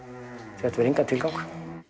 þetta hefur engan tilgang